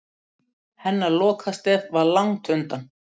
Hennar lokastef var langt undan.